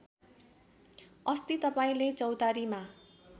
अस्ति तपाईँले चौतारीमा